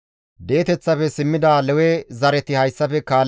Hagabe, Shammilayenne Hanaane zereththata,